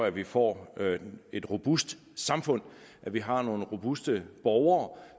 at vi får et robust samfund at vi har nogle robuste borgere